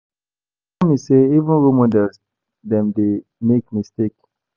E sure me sey even role models dem dey make mistake.